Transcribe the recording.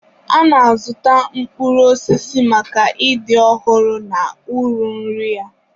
A na-azụta mkpụrụ osisi maka ịdị ọhụrụ na uru nri ya.